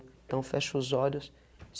Então fecha os olhos.